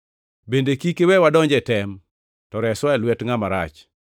Bende kik iwe wadonj e tem, to reswa e lwet ngʼat marach.’